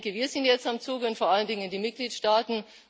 Wir sind jetzt am Zug und vor allen Dingen die Mitgliedstaaten.